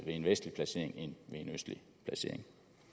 ved en vestlig placering end ved en østlig placering